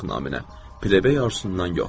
Udmaq naminə plebey arzusundan yox.